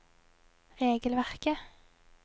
regelverket